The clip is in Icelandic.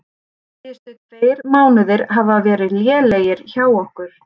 Síðustu tveir mánuðir hafa verið lélegir hjá okkur.